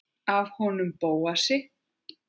Af honum Bóasi?